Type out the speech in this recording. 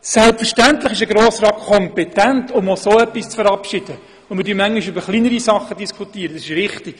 Selbstverständlich ist ein Grosser Rat kompetent, auch so etwas zu verabschieden, und wir diskutieren hier manchmal auch über kleinere Dinge, das ist richtig.